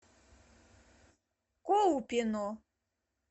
колпино